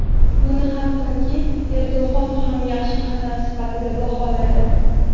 Buni hattoki Erdo‘g‘on ham yaxshi qadam sifatida baholadi.